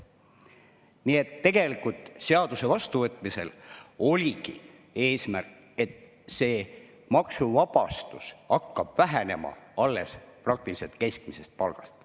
Nii et tegelikult oligi seaduse vastuvõtmisel eesmärk, et see maksuvabastus hakkab praktiliselt vähenema alles keskmisest palgast.